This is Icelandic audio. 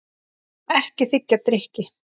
Ekki þiggja drykki.